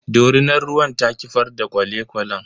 Dorinar ruwan ta kifar da kwale kwalen.